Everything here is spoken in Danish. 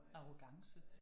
Arrogance